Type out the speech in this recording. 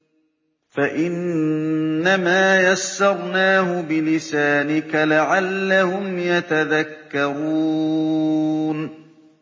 فَإِنَّمَا يَسَّرْنَاهُ بِلِسَانِكَ لَعَلَّهُمْ يَتَذَكَّرُونَ